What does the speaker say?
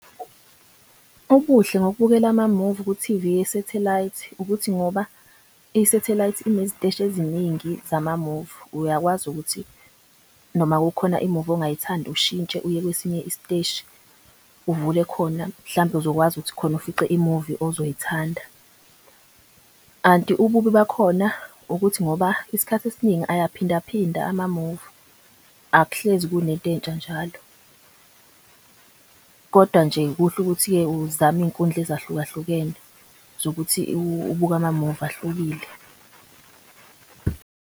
Ubuhle ngokubukela amamuvi ku-T_V yesethelay'thi ukuthi ngoba isethelay'thi ineziteshi eziningi zamamuvi. Uyakwazi ukuthi noma kukhona imuvi ongayithandi ushintshe uye kwesinye isiteshi uvule khona, mhlambe uzokwazi ukuthi khona ufice imuvi ozoyithanda. Kanti ububi bakhona ukuthi ngoba iskhathi esiningi ayaphinda phinda amamuvi. Akuhlezi kunento entsha njalo kodwa nje kuhle ukuthi uzame iy'nkundla ezahluka hlukene zokuthi ubuke amamuvi ahlukile.